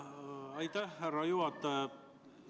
Aitäh, härra juhataja!